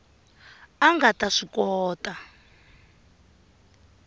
a nga ta swi kota